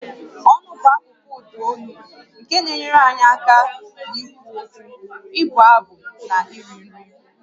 Ọnụ bụ akụkụ ụda olu nke na-enyere anyị aka n'ikwu okwu, ịbụ abụ na iri nri